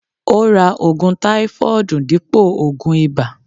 Ó ra ògùn táífọọdu dípò ògùn ìbà